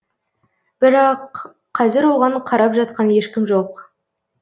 бірақ қазір оған қарап жатқан ешкім жоқ